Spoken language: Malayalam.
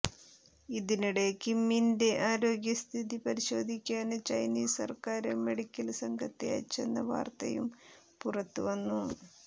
ഇതിനിടെ കിമ്മിന്റെ ആരോഗ്യസ്ഥിതി പരിശോധിക്കാന് ചൈനീസ് സര്ക്കാര് മെഡിക്കല് സംഘത്തെ അയച്ചെന്ന വാര്ത്തയും പുറത്ത് വന്നു